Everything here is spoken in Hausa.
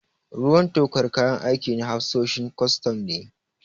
Ruwan tokar kayan aikin na hafsoshin kwastam ne.